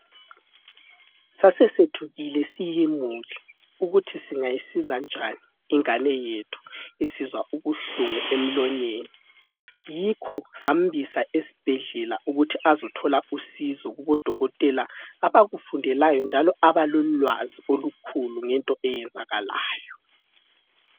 Sasethukile siyimuli ukuthi singayisiza njani ingane yethu isizwa ubuhlungu emlonyeni yikho sambisa esibhedlela ukuthi azothola usizo kubodokotela abakufundelayo njalo abalolwazi olukhulu ngento eyenzakalayo.